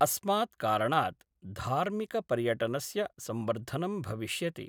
अस्मात् कारणात् धार्मिकपर्यटनस्य संवर्धनं भविष्यति।